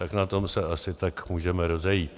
Tak na tom se asi tak můžeme rozejít.